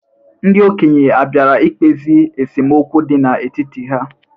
Ndị okenye abiara ikpezi esemokwu dị n'etiti ha?